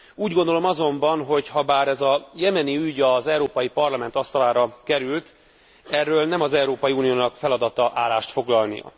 Úgy gondolom azonban, hogy habár ez a jemeni ügy az Európai Parlament asztalára került, erről nem az Európai Uniónak feladata állást foglalni.